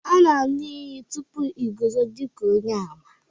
a na-anu iyi.... tupu i guzo dika onye-àmà